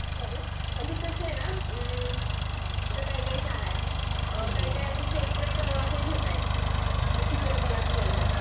sorry, म्हणजे कस आहेना आता काय काय शाळा अ काय काय अस सेपरेट हे घेता आहेत कि चित्रकला स्पर्धा